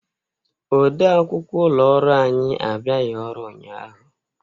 Ọde akwụkwọ ụlọ ọrụ anyi abiaghị ọrụ ụnyaahụ.